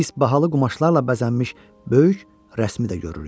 Biz bahalı qumaşlarla bəzənmiş böyük rəsmidə görürük.